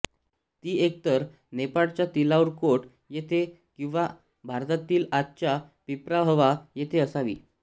ती एकतर नेपाळच्या तिलाउरकोट येथे किंवा भारतातील आजच्या पिप्राहवा येथे असावी